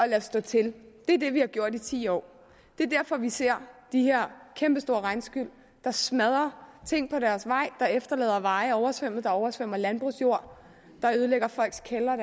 lade stå til det er det vi har gjort i ti år det er derfor vi ser de her kæmpestore regnskyl der smadrer ting på deres vej der efterlader veje oversvømmet der oversvømmer landbrugsjord der ødelægger folks kældre og